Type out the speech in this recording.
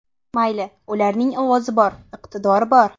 Mayli, ularning ovozi bor, iqtidori bor.